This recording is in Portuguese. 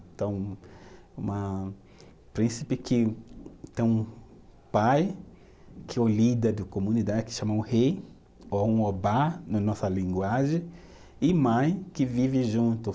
Então, uma, príncipe que tem um pai que é o líder da comunidade, que chama um rei, ou um obá, na nossa linguagem, e mãe que vive junto.